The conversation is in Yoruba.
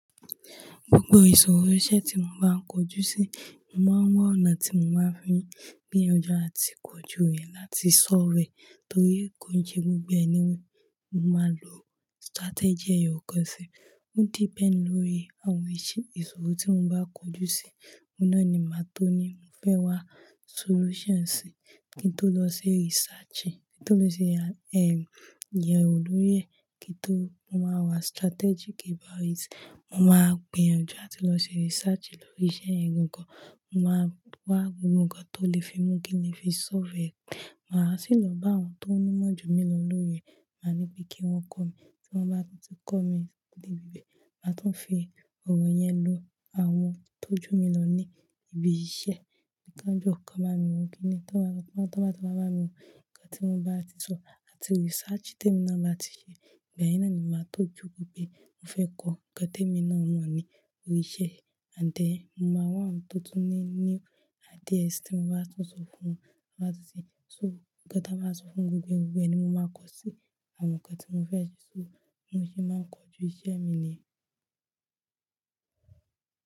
Gbogbo ìṣòro iṣẹ́ tí mo bá ń kojú sí, mo máa ń wá ọ̀nà tí mo máa fi gbìyànjú àti kojú rẹ̀ láti solve e torí kò ń ṣe gbogbo ẹ ni mo máa lò strategy ẹ̀yọ̀kàn sí i. Ó depend lórí àwọn ìṣòro tí mo bá kojú sí, òun náà ni màá tó ní mo fẹ́ wá solution sí i kí n tó lọ ṣe research, kí n tó lọ ṣe, ẹ́m, iyàn olórí rẹ̀ kí n tó, mo máa wá strategic about it. Mo máa gbìyànjú láti lọ ṣe research lórí iṣẹ́ yẹn gangan, mo máa wá gbogbo ǹkan tó lè fi mú kí n lè fi solve e. Màá sì lọ bá àwọn tó ní ìmọ̀ jù mí lọ lórí rẹ̀, màá ní pé kí wọ́n kọ́ mi. Tí wọ́n bá ti kọ́ mi dé ibi bẹ́ẹ̀, màá tún fi ọ̀rọ̀ yẹn lo àwọn tó jù mí lọ ní ibi iṣẹ́. Kí wọn jọ, kí wọn bá mi wo kíni yìí, tí wọ́n bá ti wá bá mi wò. Ǹkan tí wọ́n bá ti sọ àti research tí èmi náà bá ti ṣe, ìgbà yẹn náà ni màá tó jókòó pé mo fẹ́ kọ́. Ǹkan tí èmi náà mọ̀ ní oríṣẹ́, ànd then mo máa wá àwọn tó tún ní, ní ideas tí mo bá tún sọ fún wọn, wọ́n á sì tún sọ, ǹkan táa máa sọ fún gbogbo ẹni, mo máa kọ́ sí i àwọn ǹkan tí mo fẹ́ ṣe, ṣó mo ṣé máa ń kojú iṣẹ́ mi ni yẹn.